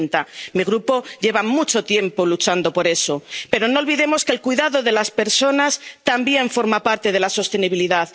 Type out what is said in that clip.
2030. Mi Grupo lleva mucho tiempo luchando por eso. Pero no olvidemos que el cuidado de las personas también forma parte de la sostenibilidad.